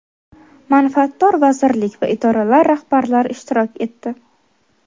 manfaatdor vazirlik va idoralar rahbarlari ishtirok etdi.